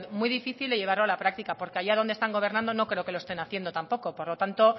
muy difícil de llevarlo a la práctica porque allá donde están gobernando no creo que lo estén haciendo tampoco por lo tanto